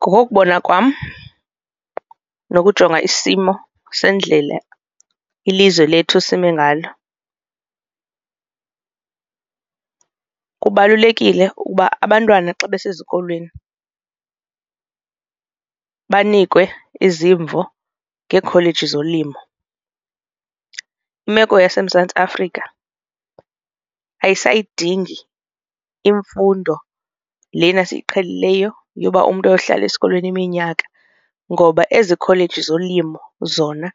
Ngokokubona kwam nokujonga isimo sendlela ilizwe lethu esime ngalo kubalulekile ukuba abantwana xa besezikolweni banikwe izimvo ngeekholeji zolimo. Imeko yaseMzantsi Afrika ayisayidingi imfundo lena siyiqhelileyo yoba umntu ayohlala esikolweni iminyaka ngoba ezi kholeji zolimo zona